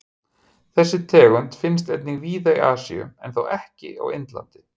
Þessi tegund finnst einnig víða í Asíu en þó ekki á Indlandi.